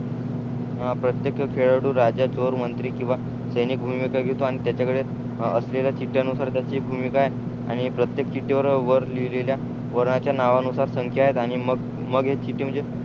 हो प्रत्येक खेळाडू राजा चोर मंत्री किंवा सैनिक भूमिका घेतो आणि त्याच्या कडे असलेल्या चीत्ठ्या नुसार त्याची भूमिका आहे आणि प्रत्येक चिट्टीवर वर लिहिलेल्या वरनांच्या नावानुसार संख्या आहत आणि मग मग हे चिट्टी म्हणजे